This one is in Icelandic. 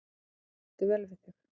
Það átti vel við þig.